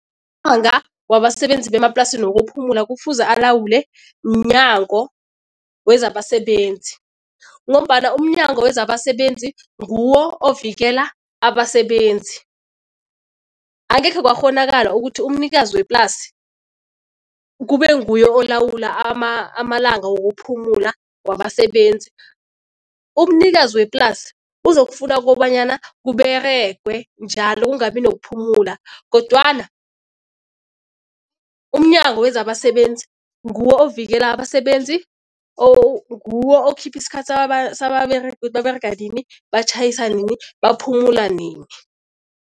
wabasebenzi bemaplasini wokuphumula kufuze alawule mNyango wezaBasebenzi, ngombana umNyango wezaBasebenzi nguwo ovikela abasebenzi. Angekhe kwakghonakala ukuthi umnikazi weplasi kube nguye olawula amalanga wokuphumula wabasebenzi. Umnikazi weplasi uzokufuna kobanyana kUberegwe njalo kungabi nokuphumula kodwana umNyango wezaBasebenzi nguwo ovikela abasebenzi or nguwo okhipha isikhathi sababeregi ukuthi baberega nini, batjhayisa nini, baphumula nini.